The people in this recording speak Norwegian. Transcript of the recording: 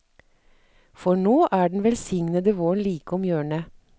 For nå er den velsignede våren like om hjørnet.